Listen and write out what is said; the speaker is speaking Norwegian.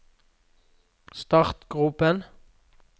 startgropen